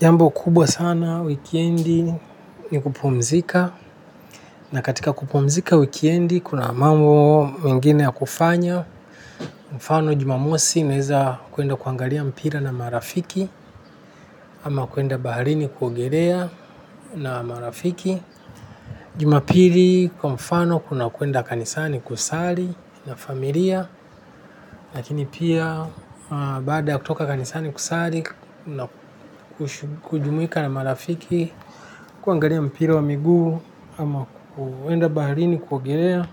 Jambo kubwa sana wikendi ni kupumzika na katika kupumzika wikendi kuna mambo mengine ya kufanya mfano jumamosi naeza kuenda kuangalia mpira na marafiki ama kuenda baharini kuogelea na marafiki Jumapili kwa mfano kuna kuenda kanisani kusali na familia lakini pia baada ya kutoka kanisani kusali na kujumuika na marafiki kuangalia mpira wa miguu ama kuenda baharini kuogelea